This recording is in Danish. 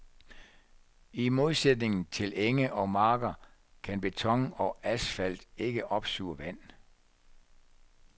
I modsætning til enge og marker kan beton og asfalt ikke opsuge vand.